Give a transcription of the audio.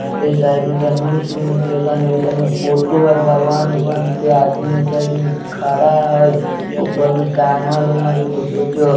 ए side में धनुष-उनुष लेखन हई ओय साइड में फोटो हई भगवान ऊगवान के आदमी ओय साइड में खड़ा हई ऊपर में टाँगल हई कुछो-कुछो।